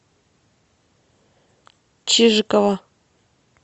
чижикова